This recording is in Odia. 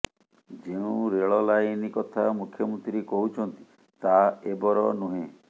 ଯେଉଁ ରେଳ ଲାଇନ କଥା ମୁଖ୍ୟମନ୍ତ୍ରୀ କହୁଛନ୍ତି ତାହା ଏବର ନୁହେଁ